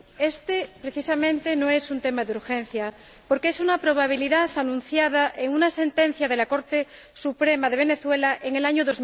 Este, precisamente, no es un tema de urgencia, porque es una probabilidad anunciada en una sentencia de la Corte Suprema de Venezuela en el año